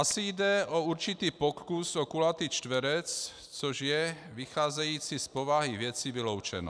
Asi jde o určitý pokus o kulatý čtverec, což je, vycházeje z povahy věci, vyloučeno.